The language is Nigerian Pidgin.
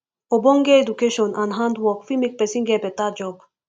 ogbonge education and hand work fit make persin get better job